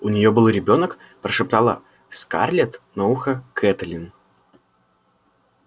у неё был ребёнок прошептала скарлетт на ухо кэтлин